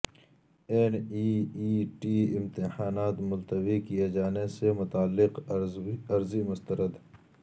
N E E T امتحانات ملتوی کئے جانے سے متعلق عرضی مسترد